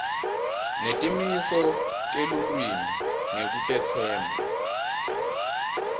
netimiso telulwimi ngekutetsemba